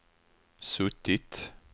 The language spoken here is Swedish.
suttit